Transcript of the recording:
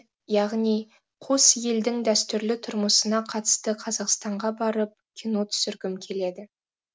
яғни қос елдің дәстүрлі тұрмысына қатысты қазақстанға барып кино түсіргім келеді